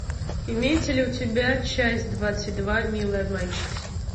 имеется ли у тебя часть двадцать два милые обманщицы